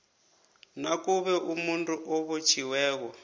nakube umuntu obotjhiweko